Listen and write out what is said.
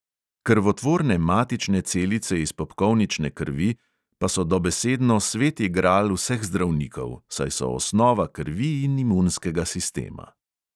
Krvotvorne matične celice iz popkovnične krvi pa so dobesedno sveti gral vseh zdravnikov, saj so osnova krvi in imunskega sistema.